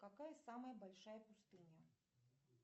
какая самая большая пустыня